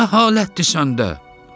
bu nə halətdir səndə?